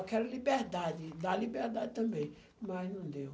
Eu quero liberdade, dar liberdade também, mas não deu.